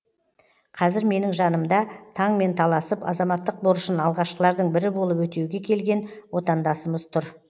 қазір менің жанымда таңмен таласып азаматтық борышын алғашқылардың бірі болып өтеуге келген отандасымыз тұр